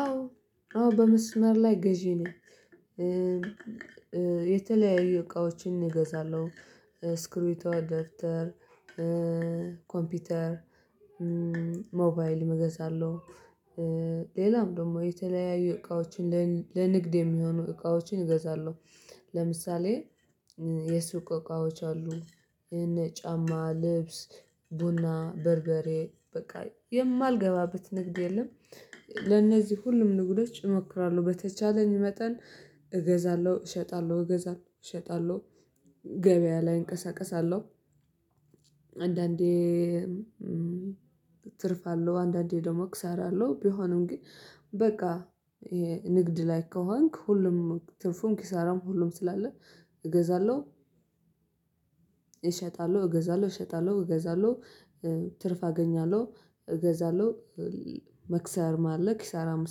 አዎ አዎ በመስመር ላይ ገዢ ነኝ። የተለያዩ እቃዎችን እገዛለሁ እስክርቢቶ ደብተር ኮምፒውተር ሞባይል መገዛለሁ። ሌላም ደግሞ የተለያዩ እቃዎችን ለንግድ የሚሆኑ እቃዎችን እገዛለሁ። ለምሳሌ የሱቅ እቃዎች አሉ ይሄን ጫማ ልብስ ቡና በርበሬ በቃ የማልገባበት ንግድ የለም። ለነዚህ ሁሉም ንግዶች እሞክራለሁ በተቻለኝ መጠን እገዛለሁ እሸጣለሁ እገዛለሁ እሸጣለሁ ገበያ ላይ እንቀሳቀሳለሁ። አንዳንዴ ትርፍ አለው አንዳንዴ ደግሞ እከሰራለሁ ቢሆንም ግን በቃ ይሄ ንግድ ላይ ከሆንክ ሁሉም ትንፉም ኪሳራም ሁሉም ስላለ እገዛለሁ። እሸጣለሁ እገዛለሁ እሸጣለሁ እገዛለሁ ትርፍ አገኛለሁ እገዛለሁ መክሰርም አለ ኪሳራም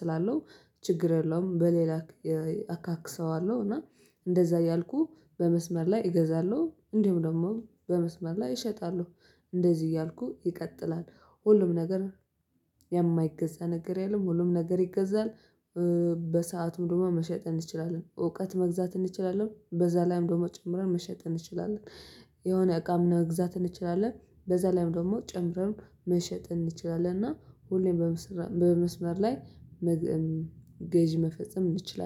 ስላለው ችግር የለውም። በሌላ አካክሰዋለሁ እና እንደዛ እያልኩህ በመስመር ላይ እገዛለሁ እንዲሁ ደግሞ በመስመር ላይ እሸጣለሁ እንደዚህ እያልኩ ይቀጥላል። ሁሉም ነገር የማይገዛ ነገር የለም ሁሉም ነገር ይገዛል። በሰአቱ ምንም መሸጥ እንችላለን እውቀት መግዛት እንችላለን በዛ ላይ እንደውም ጨምረን መሸጥ እንችላለን። የሆነ አቃ መግዛት እንችላለን በዛ ላይም ደግሞ ጨምረን መሸጥ እንችላለን። እና ሁሌም በመስመር ላይ ገዢ መፈጸም እንችላለን